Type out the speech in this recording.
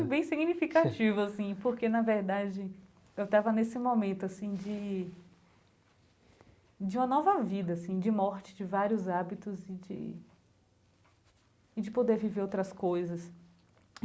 Foi bem significativo assim, porque na verdade eu estava nesse momento assim de de uma nova vida assim, de morte de vários hábitos e de e de poder viver outras coisas.